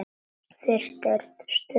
Fyrst er stutt þögn.